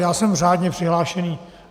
Já jsem řádně přihlášený.